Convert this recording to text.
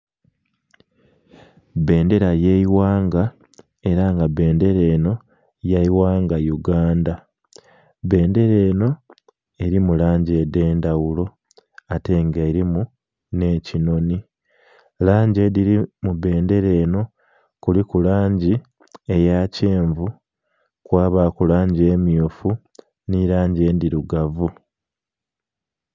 Bbendera y'eighanga era nga bbendera eno ya ighanga Uganda, bbendera eno erimu langi edh'endhaghulo ate nga erimu n'ekinhonhi. Langi edhiri mu bbendera eno kuliku langi eya kyenvu kwabaaku langi emmyufu ni langi endhirugavu.